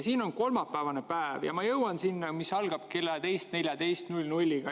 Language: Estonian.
Siin on kolmapäevane päev ja ma jõuan selle kohani, mis algab kella 14.00‑ga.